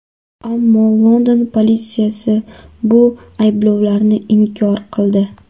Ammo London politsiyasi bu ayblovlarni inkor qildi .